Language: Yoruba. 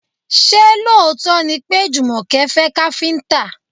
Ṣé lóòótọ́ ni pé Jùmọ̀kẹ́ fẹ́ káfíńtà?